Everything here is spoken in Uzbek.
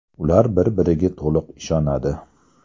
Ular bir-biriga to‘liq ishonadi.